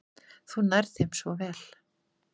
Þú nærð þeim svo vel.